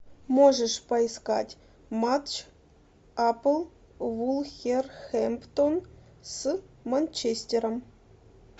можешь поискать матч апл вулверхэмптон с манчестером